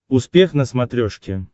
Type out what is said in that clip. успех на смотрешке